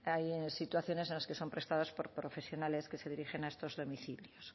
hay situaciones en las que son prestados por profesionales que se dirigen a estos domicilios